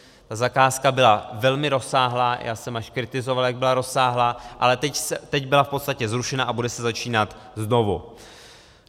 Ta zakázka byla velmi rozsáhlá, já jsem až kritizoval, jak byla rozsáhlá, ale teď byla v podstatě zrušena a bude se začínat znovu.